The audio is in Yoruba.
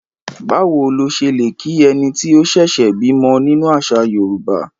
Báwo lo ṣe lè kí ẹni tí ó ṣẹ̀ṣẹ̀ bímọ nínú àṣà Yorùbá?